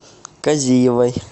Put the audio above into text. казиевой